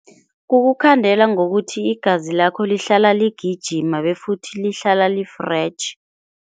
Kukukhandela ngokuthi igazi lakho lihlala ligijima befuthi lihlala li-fresh.